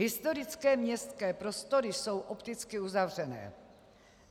Historické městské prostory jsou opticky uzavřené.